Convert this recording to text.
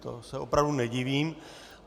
To se opravdu nedivím.